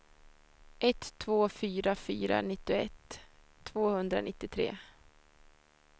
ett två fyra fyra nittioett tvåhundranittiotre